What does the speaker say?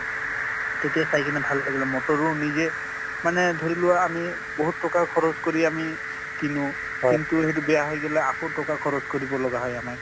তেতিয়া চাই কিনে ভাল লাগিলে motor ও নিজে মানে ধৰি লোৱা আমি বহুত টকা খৰছ কৰি আমি কিনো কিন্তু সেইটো বেয়া হৈ গলে আকৌ টকা খৰচ কৰিব লগা হয় আমাক ।